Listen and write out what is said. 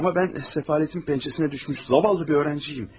Amma mən səfalətin pəncəsinə düşmüş zavallı bir öğrencim.